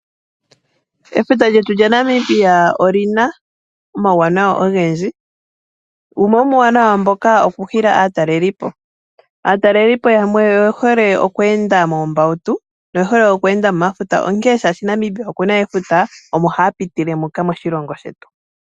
Efuta lyetu lya Namibia olina omauwanawa ogendji. Wumwe wo muuwanawa mboka oku hila aatalelipo. Aatalelipo yamwe oye hole oku enda moombautu yo oye hole oku enda mo mafuta oshoka Namibia okuna efuta omo haya pitile muka moshilongo shetu.